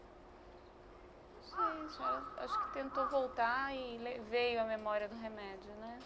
Não sei, a senhora acho que tentou voltar e veio a memória do remédio, né?